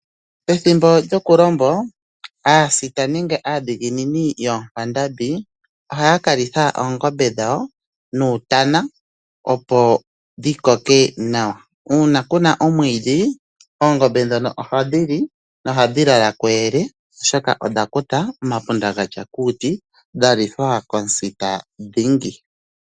Pethimbo lyokulombo aadhiginini nenge aasita yoonkwandambi ohaya kalitha oongombe nuutana, opo dhi koke nawa. Uuna kuna omwiidhi oongombe ohadhi lala kuyele oshoka odha kuta omapunda gatsa kuuti dhalithwa komusita dhingi.